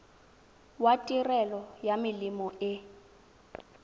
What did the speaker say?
wa tirelo ya melemo e